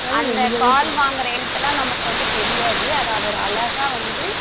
அந்த கால் வாங்குற எழுத்து எல்லாம் நமக்கு வந்து தெரியாது அதை அவரு அழகா வந்து